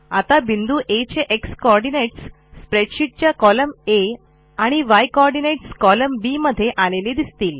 आता बिंदू आ चे एक्स कोऑर्डिनेट्स स्प्रेडशीट च्या कोलम्न आ आणि य कोऑर्डिनेट्स कोलम्न बी मध्ये आलेले दिसतील